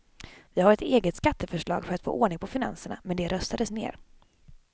Vi hade ett eget skatteförslag för att få ordning på finanserna, men det röstades ned.